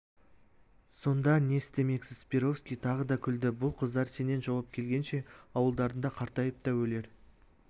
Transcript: сонда не істемексіз перовский тағы да күлді бұл қыздар сенен жауап келгенше ауылдарында қартайып та өлер